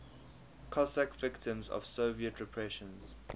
cossack victims of soviet repressions